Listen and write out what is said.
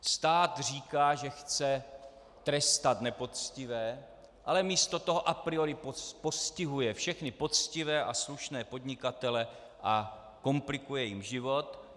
Stát říká, že chce trestat nepoctivé, ale místo toho a priori postihuje všechny poctivé a slušné podnikatele a komplikuje jim život.